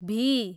भी